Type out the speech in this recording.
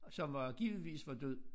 Som var givetvis var død